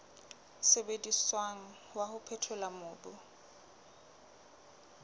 sebediswang wa ho phethola mobu